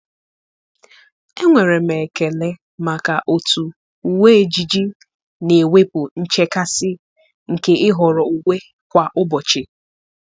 Enwere m ekele maka otú uwe ejiji na-ewepụ nchekasị nke ịhọrọ uwe kwa ụbọchị.